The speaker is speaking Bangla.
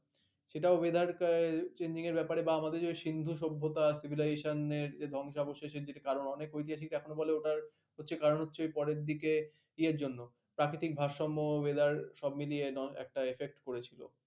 সেটাও weather আহ changing এর ব্যাপারে বা আমাদের ওই যে সিন্ধু সভ্যতা civilization এর যে ধ্বংসাবশেষের যেটি কারণ, অনেক ঐতিহাসিক এখনো বলে ওটার হচ্ছে কারণ হচ্ছে পরের দিকে ইয়ের জন্য প্রাকৃতিক ভারসাম্য weather সব মিলিয়ে একটা effect পড়েছিল।